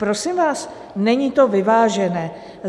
Prosím vás, není to vyvážené.